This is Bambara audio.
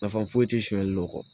Nafa foyi tɛ sonyali dɔ kɔ